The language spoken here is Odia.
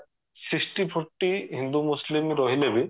sixty forty ହିନ୍ଦୁ ମୁସଲିମ୍ ରହିଲେ ବି